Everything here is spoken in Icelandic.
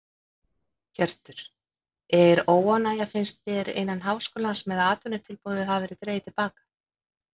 Hjörtur: Er óánægja finnst þér innan háskólans með að atvinnutilboðið hafi verið dregið til baka?